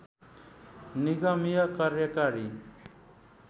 निगमीय कार्यकारी